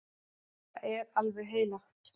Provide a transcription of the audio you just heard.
Þetta er alveg heilagt!